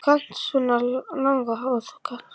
Og þú kannt á svona lagað.